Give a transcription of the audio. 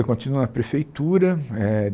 Eu continuo na prefeitura eh.